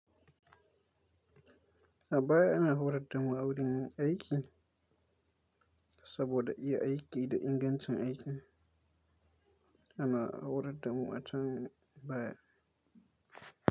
A baya ana horar da mu a wurin aiki saboda iya aiki da ingancin aiki ana horar da mu a can baya.